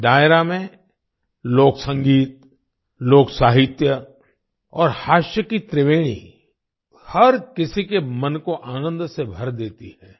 इस डायरा में लोक संगीत लोक साहित्य और हास्य की त्रिवेणी हर किसी के मन को आनंद से भर देती है